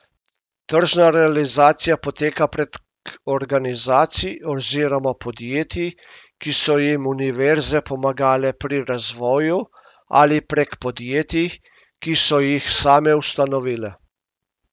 Tržna realizacija poteka prek organizacij oziroma podjetij, ki so jim univerze pomagale pri razvoju, ali prek podjetij, ki so jih same ustanovile.